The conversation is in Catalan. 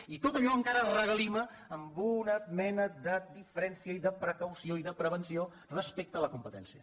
i tot allò encara regalima en una mena de diferència i de precaució i de prevenció respecte a la competència